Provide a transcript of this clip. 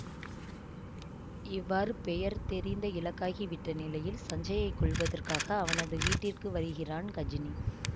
இவ்வாறு பெயர் தெரிந்த இலக்காகி விட்ட நிலையில் சஞ்சயை கொல்வதற்காக அவனது வீட்டிற்கு வருகிறான் கஜினி